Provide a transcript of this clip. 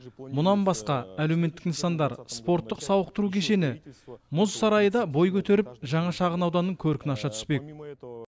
мұнан басқа әлеуметтік нысандар спорттық сауықтыру кешені мұз сарайы да бой көтеріп жаңа шағынауданның көркін аша түспек